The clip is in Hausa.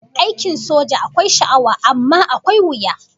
Aikin soja akwai sha'awa amma akwai wuya